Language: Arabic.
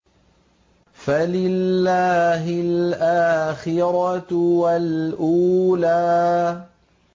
فَلِلَّهِ الْآخِرَةُ وَالْأُولَىٰ